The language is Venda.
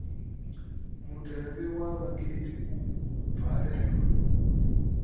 mutevhe wa vhakhethi u bvalelwa